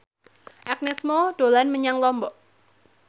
Agnes Mo dolan menyang Lombok